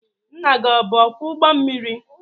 Nna gi ọ bụ ọkwọ ụgbọ mmiri?